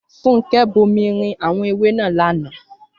Fúnkẹ́ bomirin àwọn ewé náà lánàá